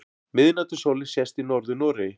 Miðnætursólin sést í Norður-Noregi.